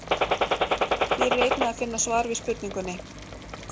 Hér er einnig að finna svar við spurningunni: